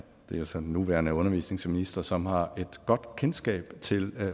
det er så den nuværende undervisningsminister som har et godt kendskab til